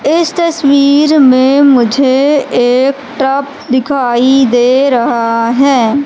इस तस्वीर में मुझे एक ट्रक दिखाई दे रहा है।